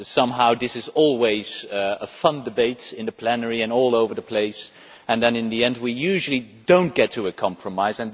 Somehow this is always a fun debate in the plenary and all over the place and then, in the end, we usually do not get to a compromise.